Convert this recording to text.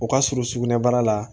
O ka surun sugunɛbara la